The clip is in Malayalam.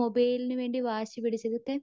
മൊബൈലിന് വേണ്ടീട്ട് വാശി പിടിചു ഇതൊക്കെ